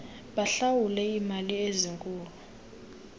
bahlawule iimali ezinkulu